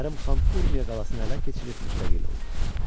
Kərim xan Urmiya qalasını ələ keçirib müstəqil oldu.